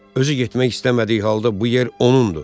Özü getmək istəmədiyi halda bu yer onundur.